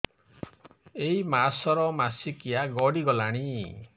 ଏଇ ମାସ ର ମାସିକିଆ ଗଡି ଗଲାଣି